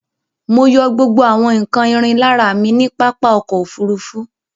Mọ yọ gbógbó àwon nkán ìrìn l'ára mí ní pápá ọkọ̀ òfurufú.